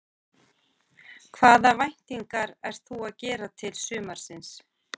Hvaða væntingar ert þú að gera til sumarsins?